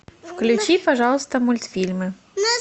включи пожалуйста мультфильмы